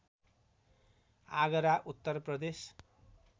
Agra Uttar Pradesh